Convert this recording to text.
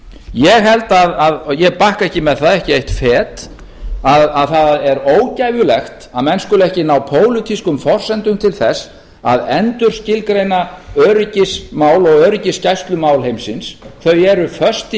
ég held að ég bakka ekki með það ekki eitt en að það er ógæfulegt að menn skuli ekki ná pólitískum forsendum til þess að endurskilgreina öryggismál og öryggisgæslumál heimsins þau eru föst í